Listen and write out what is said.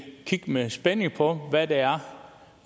kigge med spænding på hvad det er